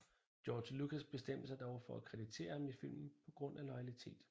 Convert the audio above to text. George Lucas bestemte sig dog for at kreditere ham i filmen på grund af loyalitet